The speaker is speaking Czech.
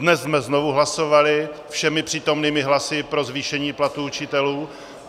Dnes jsme znovu hlasovali všemi přítomnými hlasy pro zvýšení platů učitelů.